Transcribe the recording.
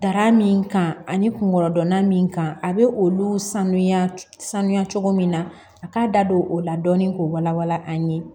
Dara min kan ani kunkolodonna min kan a bɛ olu sanuya sanuya cogo min na a k'a da don o la dɔɔni k'o wala wala an ye